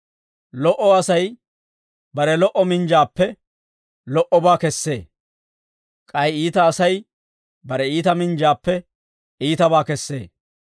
Lo"o Asay bare lo"o minjjuwaappe lo"obaa kessee; k'ay iita Asay bare iita minjjuwaappe iitabaa kessee.